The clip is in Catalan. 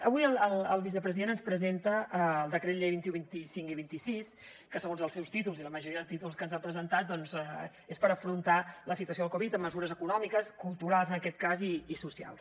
avui el vicepresident ens presenta els decrets llei vint un vint cinc i vint sis que segons els seus títols i la majoria de títols que ens han presentat doncs són per afrontar la situació del covid amb mesures econòmiques culturals en aquest cas i socials